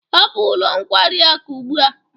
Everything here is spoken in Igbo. Hapụ ụlọ nkwari akụ ugbu a.